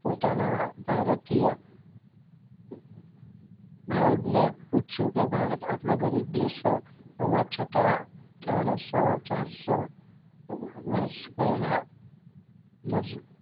પોતાના ભારતીય Guide ને પૂછ્યું કે ભારત આટલો ગરીબ દેશ હોવા છતાં ત્રણ સો ચાર સો વર્ષ પહેલા અમ